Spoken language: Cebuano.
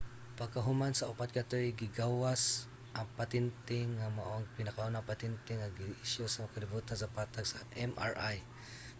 pagkahuman sa upat ka tuig gigawad ang patente nga mao ang pinakaunang petente nga giisyu sa kalibutan sa patag sa mri